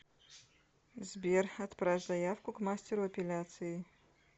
сбер отправь заявку к мастеру эпиляции